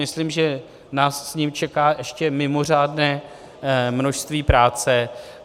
Myslím, že nás s ním čeká ještě mimořádné množství práce.